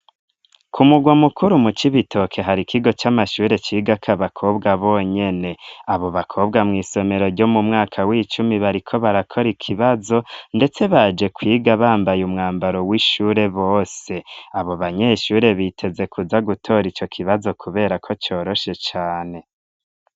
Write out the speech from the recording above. Ku mugwa mukuru mu cikibitoke hari ikigo c'amashure ciga ko abakobwa bonyene abo bakobwa mw'isomero ryo mu mwaka w'icumi bariko barakora ikibazo ndetse baje kwiga bambaye umwambaro w'ishure bose abo banyeshure biteze kuza gutora ico kibazo kubera ko coroshe cane.